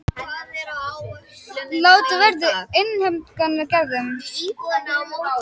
Látið verði af innheimtuaðgerðum